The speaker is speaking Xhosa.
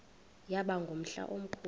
yaba ngumhla omkhulu